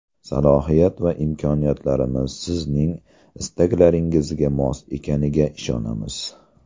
Salohiyat va imkoniyatlarimiz Sizning istaklaringizga mos ekaniga ishonamiz.